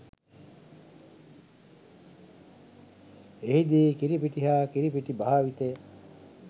එහි දී කිරිපිටි හා කිරිපිටි භාවිතය